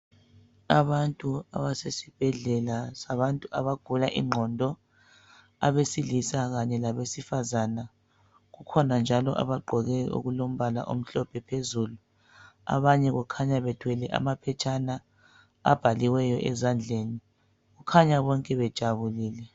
abantu abesibhedlela sabantu abagula inqondo abesilisa labesifazana kukhona njalo abagqoke okulompala omhlophe phezulu abanye kukhanya bephethe amaphetshana abhaliweyo ezandleni kukhanya bonke bejabulile